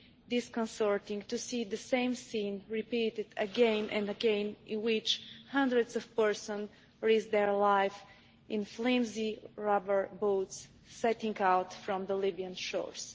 disconcerting to see the same scene repeated again and again in which hundreds of persons risk their lives in flimsy rubber boats setting out from the Libyan shores.